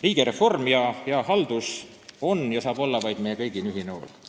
Riigireform ja hea haldus on ja saab olla vaid meie kõigi ühine huvi ja hool.